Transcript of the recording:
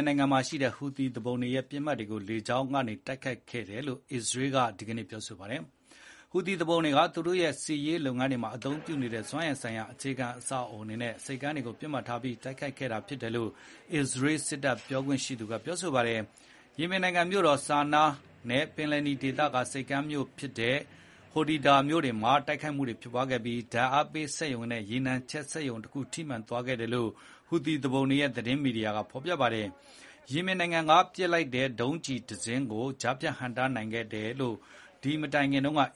င်နိုင်ငံမှာရှိတဲ့ဟူသီသူပုန်တွေရဲ့ ပစ်မှတ်တွေကို အစ္စရေးကလေကြောင်းကနေ တိုက်ခိုက်ခဲ့တယ်လို့ အစ္စရေးစစ်တပ်က ဒီနေ့ ပြောလိုက်ပါတယ်။ ဟူသီသူပုန်တွေက စစ်ရေးလုပ်ငန်းတွေမှာသုံးတဲ့ စွမ်းအင်ဆိုင်ရာ အခြေခံအဆောက် အအုံတွေနဲ့ ဆိပ်ကမ်းတွေကိုပစ်မှတ်ထားပြီး တိုက်ခိုက်ခဲ့ဖြစ်ကြောင်း အစ္စရေးစစ်တပ်ပြောခွင့်ရက ပြောပါ တယ်။ ယီမင်နိုင်ငံ မြို့တော်ဆာနားနဲ့ ပင်လယ်နီဒေသက ဆိပ်ကမ်းမြို့ဖြစ်တဲ့ Hodeida မြို့တွေမှာ တိုက်ခိုက်မှုတွေ ဖြစ်ပွားခဲ့ပြီး ဓါတ်အားပေးစက်ရုံနဲ့ ရေနံချက်စက်ရုံတခု ထိမှန်သွားခဲ့ တယ်လို့ ဟူသီသူပုန်တွေရဲ့ သတင်းမီဒီယာက ဖော်ပြပါတယ်။ အဲဒီမတိုင်လေးမှာပဲ ယီမင်နိုင်ငံကပစ်လိုက်တဲ့ ဒုံးကျည်တစင်းကို ကြားဖြတ်ဟန့်တားနိုင်ခဲ့တယ်လို့ အ